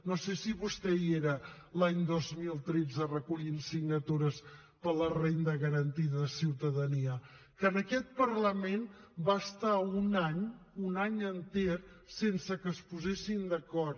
no sé si vostè hi era l’any dos mil tretze recollint signatures per a la renda garantida de ciutadania que en aquest parlament va estar un any un any enter sense que es posessin d’acord